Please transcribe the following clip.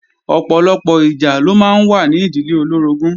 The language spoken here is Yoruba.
Ọ̀pọ̀lọpọ̀ ìjà ló máa ń wà ní ìdílé olóorogún